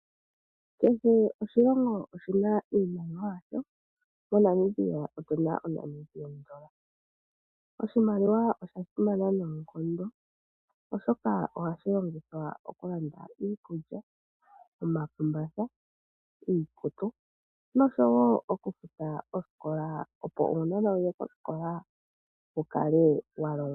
Kehe oshilongo oshina iimaliwa yasho. MoNamibia otu na oondola dhaNamibia. Oshimaliwa osha simana noonkondo, oshoka ohashi longithwa oku landa iikulya, omakumbatha, iikutu noshowo oku futa osikola, opo uunona wuye kosikola wu kale wa longwa.